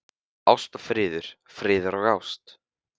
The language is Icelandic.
Ást og friður, friður og ást.